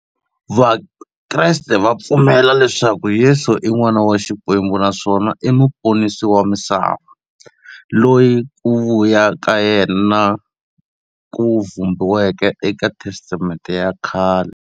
Vakreste va pfumela leswaku Yesu i n'wana wa Xikwembu naswona i muponisi wa misava, loyi ku vuya ka yena ku vhumbiweke eka Testamente ya khale.